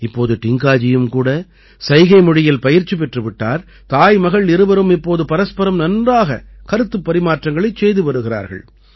இப்போது டிங்காஜியும் கூட சைகை மொழியில் பயிற்சி பெற்று விட்டார் தாய்மகள் இருவரும் இப்போது பரஸ்பரம் நன்றாகக் கருத்துப் பரிமாற்றங்களைச் செய்து வருகிறார்கள்